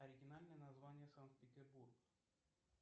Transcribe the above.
оригинальное название санкт петербург